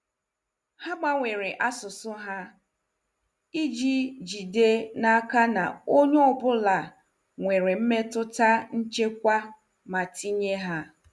Ha gbanwere asụsụ ha iji jide n'aka na onye ọ bụla nwere mmetụta nchekwa ma tinye ya.